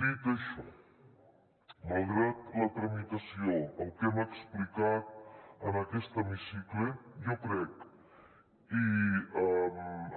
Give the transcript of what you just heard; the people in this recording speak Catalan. dit això malgrat la tramitació el que hem explicat en aquest hemicicle jo crec i